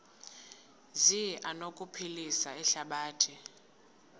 zi anokuphilisa ihlabathi